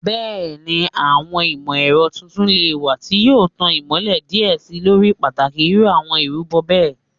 Bẹẹni, awọn imọ-ẹrọ titun le wa ti yoo tan imọlẹ diẹ sii lori pataki iru awọn irubo bẹẹ